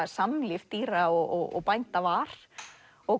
samlíf dýra og bænda var og